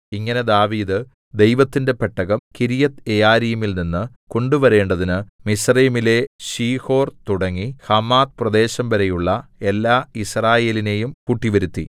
ഇങ്ങനെ ദാവീദ് ദൈവത്തിന്റെ പെട്ടകം കിര്യത്ത്യെയാരീമിൽനിന്ന് കൊണ്ടുവരേണ്ടതിന് മിസ്രയീമിലെ ശീഹോർ തുടങ്ങി ഹമാത്ത് പ്രദേശംവരെയുള്ള എല്ലാ യിസ്രായേലിനെയും കൂട്ടിവരുത്തി